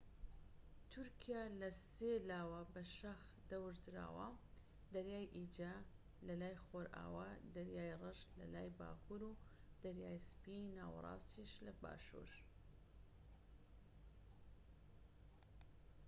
تورکیا لە سێ لاوە بە شاخ دەورە دراوە دەریای ئیجە لە لای خۆرئاوا دەریای ڕەش لەلای باکوور و دەریای سپی ناوەراستیش لە باشور